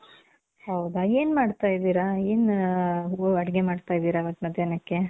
ಹೌದಾ, ಏನ್ ಮಾಡ್ತಾ ಇದೀರ? ಏನ್ ಅಡುಗೆ ಮಾಡ್ತಾ ಇದೀರ ಇವತ್ತ್ ಮಧ್ಯಾಹ್ನಕ್ಕೆ?